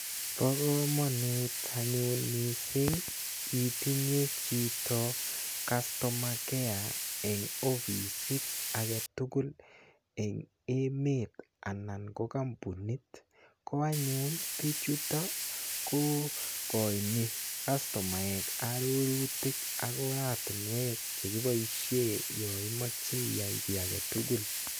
Bo komonut anyun mising itinye chito customer care eng ofisit ake tugul eng emet anan ko kampunit ko anyun bichuto kokoini castomaek arorutik ak oratunwek chekiboishe yo imoche iyai kiy age tugul.